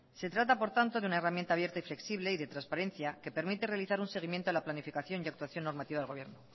se trata por tanto de una herramienta abierta y flexible y de transparencia que permite realizar un seguimiento a la planificación y actuación normativa del gobierno